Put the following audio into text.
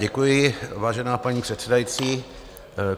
Děkuji, vážená paní předsedající.